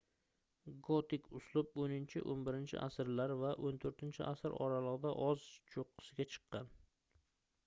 gotik uslub 10–11-asrlar va 14-asr oralig'ida o'z cho'qqisiga chiqqan